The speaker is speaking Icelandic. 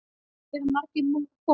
Eru margir búnir að koma?